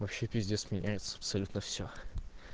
вообще пиздец меняется абсолютно все